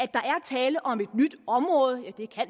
tale om et